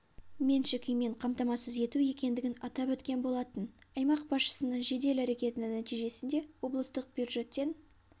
меншік үймен қамтамасыз ету екендігін атап өткен болатын аймақ басшысының жедел әрекетінің нәтижесінде облыстық бюджеттен